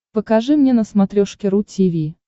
покажи мне на смотрешке ру ти ви